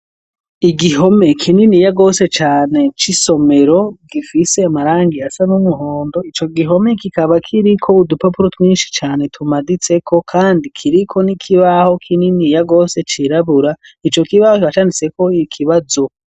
igihome kininiya gose cane c'isomero , gifis'a marangi asa n'umuhondo , ico gihome kikaba kiriko udupapuro twinshi cane tumaditseko , kandi kiriko n'ikibaho kininiya gose cirabura ,ico kibaho canditseko ikibazo.